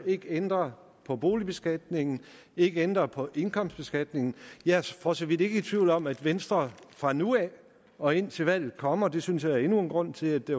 ikke ændrer på boligbeskatningen ikke ændrer på indkomstbeskatningen jeg er for så vidt ikke i tvivl om at venstre fra nu af og indtil valget kommer og det synes jeg er endnu en grund til at det